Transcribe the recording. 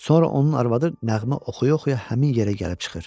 Sonra onun arvadı nəğmə oxuya-oxuya həmin yerə gəlib çıxır.